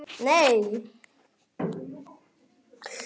Ekkert svar barst.